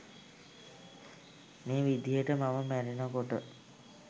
මේ විදිහට මම මැරෙනකොට